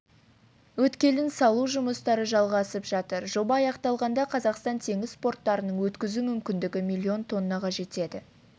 өткелін салу жұмыстары жалғасып жатыр жоба аяқталғанда қазақстан теңіз порттарының өткізу мүмкіндігі миллион тоннаға жетеді